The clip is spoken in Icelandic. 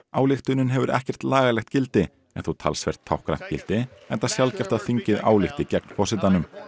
ályktunin hefur ekki lagalegt gildi en þó talsvert táknrænt gildi enda sjaldgæft að þingið álykti gegn forsetanum